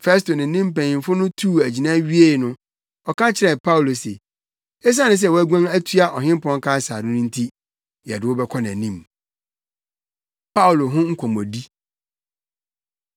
Festo ne ne mpanyimfo tuu agyina wiei no, ɔka kyerɛɛ Paulo se, “Esiane sɛ woaguan atoa Ɔhempɔn Kaesare no nti yɛde wo bɛkɔ nʼanim.” Paulo Ho Nkɔmmɔdi